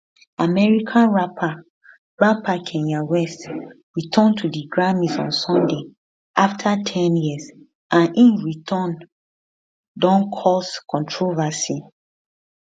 american rapper rapper kanye west return to di grammys on sunday after ten years and im return don cause controversy